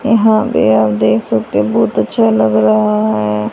यहां पे आप देख सकते बहोत अच्छा लग रहा है।